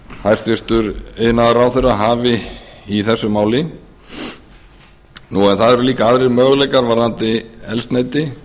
hæstvirtur iðnaðarráðherra hafi í þessu máli það eru líka aðrir möguleikar varðandi eldsneyti